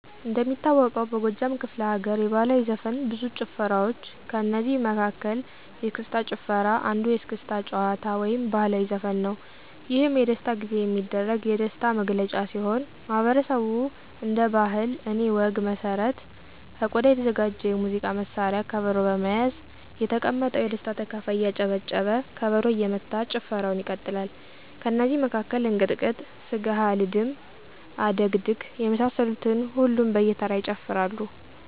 እንደሚታወቀው በጎጃም ክፍለ ለገርየባህላዊ ዘፈን ብዙ ጭፈራዋ ጭፈራዋች ከእነዚህ መለ መሀከል የስክስታጭፈራ አንዱየስክስታ ጭዋታ ወይም ባህልዊ ዘፈንነዉ። የህም የደስታጊዜ የሚደረግ የደሥታ ጊዜየሚደረግ የደሥታ ነግለጫ ሲሆን ማህበረሠቡ እንደ ባህለ እኔ ወግ መሠረት ከቆዳ የተዘጋጀ የሙዚቃ መሳሪያ ከበሮ በመያዝ የተቀመጠው የደስታ ተካፋይ እያጨበጨበ ከበሮ እየመታ ጭፈረዉን ይቀጥላል። ከነዚ መካከል እንቅጥቅጥ፣ ስገሐልድም፣ አደግድግ የመሳሰሉትን ሁሉም በየተራ ይጨፍራሉ።